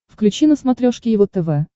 включи на смотрешке его тв